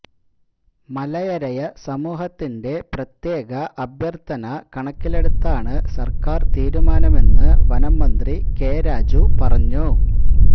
മലയരയ സമൂഹത്തിന്റെ പ്രത്യേക അഭ്യര്ത്ഥ കണക്കിലെടുത്താണ് സര്ക്കാര് തീരുമാനമെന്ന് വനംമന്ത്രി കെ രാജു പറഞ്ഞു